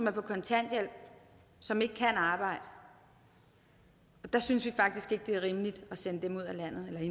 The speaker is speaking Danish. er på kontanthjælp som ikke kan arbejde og der synes vi faktisk ikke det er rimeligt at sende dem ud af landet ved